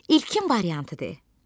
İlkin variantı de.